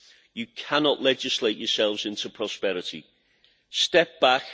You cannot legislate yourselves into prosperity. Step back.